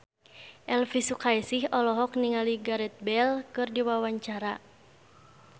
Elvy Sukaesih olohok ningali Gareth Bale keur diwawancara